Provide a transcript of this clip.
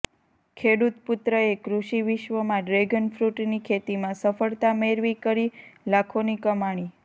ખેડૂત પુત્રએ કૃષિ વિશ્વમાં ડ્રેગનફ્રૂટની ખેતીમાં સફળતા મેળવી કરી લાખોની કમાણી